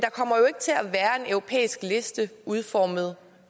europæisk liste udformet